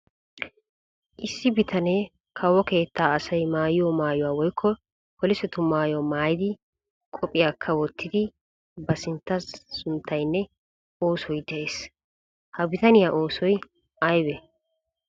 Issi bitanee kawo keettaa asay maayiyo maayuwa woykko polisetu maayuwa maayidi qophiyaakka wottidi ba sintta sunttaynne oosoy de'ees. Ha bitaniyaa oosoy aybee?